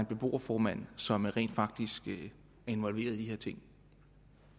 beboerformand som rent faktisk er involveret i de her ting